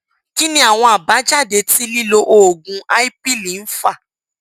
kí ni àwọn àbájáde tí lílo oògùn ipill ń fà